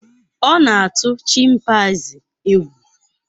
Ọ na-atụ chimpanzii egwu.